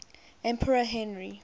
emperor henry